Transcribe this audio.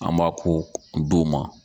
An m'a ko d'o ma.